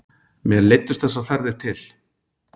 Mér leiddust þessar ferðir til